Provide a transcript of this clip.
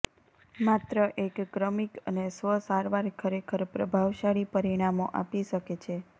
માત્ર એક ક્રમિક અને સ્વ સારવાર ખરેખર પ્રભાવશાળી પરિણામો આપી શકે છે